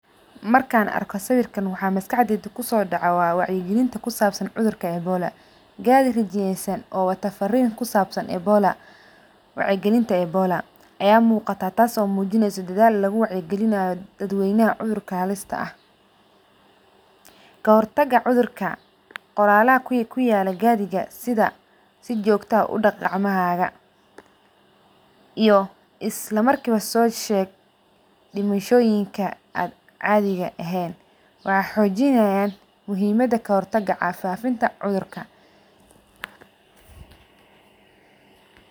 Markan arko sawirkan waxaa maskaxdeyda kusodaco waxaa weye wacya galinta kusabsan cudhurka ebola gari rijiyesan oo wato farin kusabsan ebola, wacya galinta ebola aya muqata tasi oo mujinysaa dadhal lagu wacya galinayo dad weynaha cudhurka halista ah kahortaga cudhurka qoralaha kuyala gariga sitha si jogto ah udaq gacmahaga iyo isla markiwa sosheg dimashoyinka an cadhi ehen waxaa xojinayan muhiimada kahortaga cafimaadka.